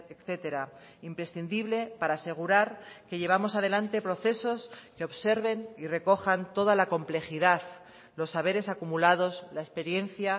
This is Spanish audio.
etcétera imprescindible para asegurar que llevamos adelante procesos que observen y recojan toda la complejidad los saberes acumulados la experiencia